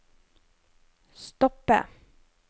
stoppe